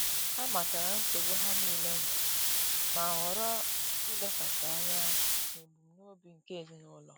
Ha matara nsogbu ha niile nwere, ma ghọrọ ilekwasị anya n'ebumnobi nke ezinụlọ